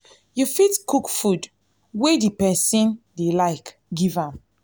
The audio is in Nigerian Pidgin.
you fit cook food wey di person dey like give am